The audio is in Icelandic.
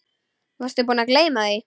Varstu búinn að gleyma því?